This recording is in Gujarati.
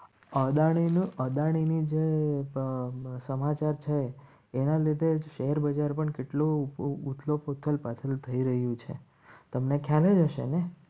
અદાણી નો અદાણીની જે સમાચાર છે એના લીધે શેર બજાર પણ કેટલું હોથલ પાછળ થઈ રહ્યું છે તમને ખ્યાલ જ હશે. ને